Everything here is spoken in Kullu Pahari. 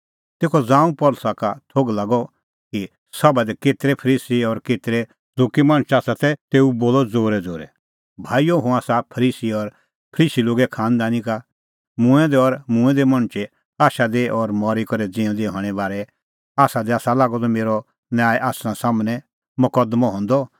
तेखअ ज़ांऊं पल़सी का थोघ लागअ कि सभा दी केतरै फरीसी और केतरै सदुकी मणछ आसा ता तेऊ बोलअ ज़ोरैज़ोरै भाईओ हुंह आसा फरीसी और फरीसी लोगे खांनदानी का मूंऐं दै और मूंऐं दै मणछे आशा दी और मरी करै ज़िऊंदै हणें बारै आसा लागअ द मेरअ न्याय आसना सम्हनै मकदमअ हंदअ